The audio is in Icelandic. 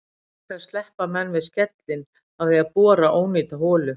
Auk þess sleppa menn við skellinn af því að bora ónýta holu.